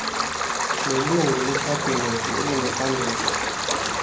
nelungu lekhabhinethi elinoxanduva